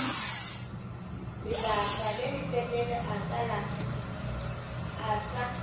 lebaka le letelele a sa